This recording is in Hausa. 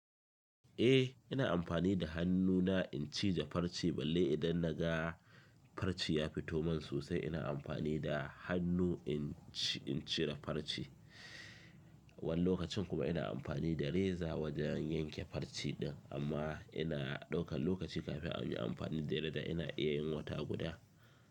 Eh, ina amfani da hannu na in cije farce balle idan na ga farce ya fito man sosai ina amfani da hannu in cire farce. Wani lokacin kuma ina amfani da reza wajen yanke farce din. Amma ina daukan lokaci kafin in yi amfani da reza. Da ina iya yin wata guda.